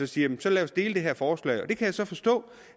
sige jamen så lad os dele det her forslag det kan jeg så forstå